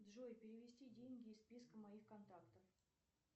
джой перевести деньги из списка моих контактов